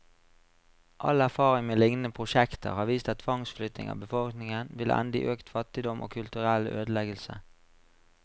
All erfaring med lignende prosjekter har vist at tvangsflytting av befolkningen vil ende i økt fattigdom, og kulturell ødeleggelse.